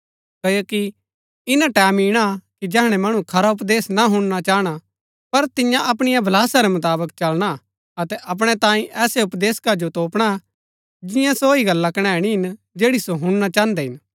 क्ओकि ईना टैमं ईणा कि जैहणै मणु खरा उपदेश ना हुणना चाहणा पर तिन्या अपणी अभिलाषा रै मुताबक चलना अतै अपणै तांई ऐसै उपदेशका जो तोपणा जिन्या सो ही गल्ला कनैणी हिन जैड़ी सो हुणना चाहन्दै हिन